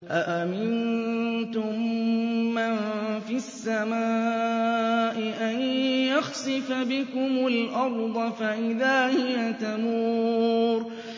أَأَمِنتُم مَّن فِي السَّمَاءِ أَن يَخْسِفَ بِكُمُ الْأَرْضَ فَإِذَا هِيَ تَمُورُ